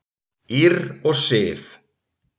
Ýrr og Sif.